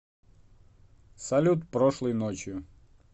салют прошлой ночью